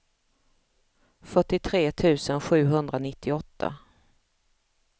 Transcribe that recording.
fyrtiotre tusen sjuhundranittioåtta